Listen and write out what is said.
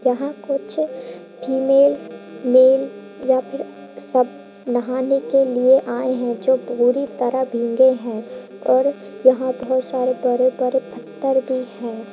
यहाँ कुछ female male या फिर सब नहाने के लिए आए हैं जो पूरी तरह भींगे हैं और यहाँ बहुत सारे बड़े बड़े पत्थर भी हैं |